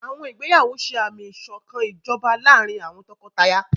Àwọn ìgbéyàwó ṣe àmì ìṣọ̀kan ìjọba láàárín àwọn tọkọtaya.